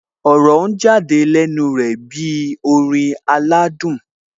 Ọ̀rọ̀ ń jáde lẹ́nu rẹ̀ bí orin aládùn